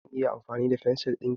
Zan iya amfani da fensir ɗinka?